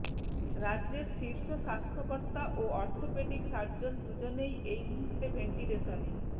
রাজ্য়ের শীর্ষ স্বাস্থ্য কর্তা ও অর্থোপেডিক সার্জন দুজনেই এই মুহূর্তে ভেন্টিলেশনে